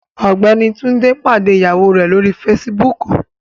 Ọgbẹni Tunde pade iyawo rẹ lori Fèsìbúukù